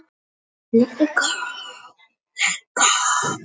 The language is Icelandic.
Ef þessi aðskilnaður litninga mistekst verða til gallaðar kynfrumur.